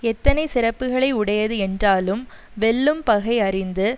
எத்தனை சிறப்புகளை உடையது என்றாலும் வெல்லும் பகை அறிந்து